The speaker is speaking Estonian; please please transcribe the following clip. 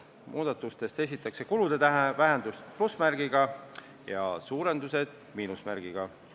Muudatustes esitatakse kulude vähendused plussmärgiga ja suurendused miinusmärgiga.